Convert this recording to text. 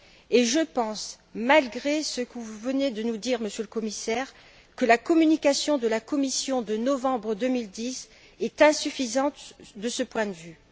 Et je pense, malgré ce que vous venez de nous dire, Monsieur le Commissaire, que la communication de la Commission de novembre 2010 est insuffisante de ce point de vue.